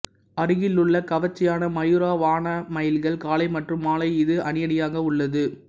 அருகிலுள்ள கவர்ச்சியான மயூரா வனா மயில்கள் காலை மற்றும் மாலை இது அணிஅணியாக உள்ளது